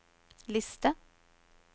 liste